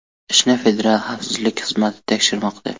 Ishni Federal xavfsizlik xizmati tekshirmoqda.